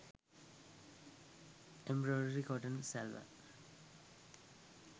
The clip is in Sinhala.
embroidery cotton salwar